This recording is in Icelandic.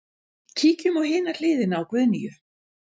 Kíkjum á hina hliðina á Guðnýju.